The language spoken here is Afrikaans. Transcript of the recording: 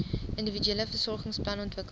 individuele versorgingsplan ontwikkel